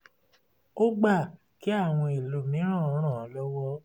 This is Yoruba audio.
ó gba kí àwọn ẹlòmíràn ràn án lọ́wọ́